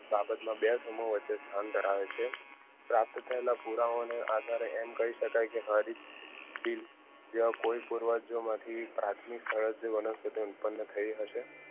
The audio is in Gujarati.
આ બાબતમાં વચ્ચે સ્થાન ધરાવે છે પ્રાપ્ત થયેલા પુરાવો ને આધારે એમ કહી શકાય કે કોઈ પૂર્વજો માથી પ્રાથમિક વનસ્પતિઓ ઉત્પન્ન થઈ હશે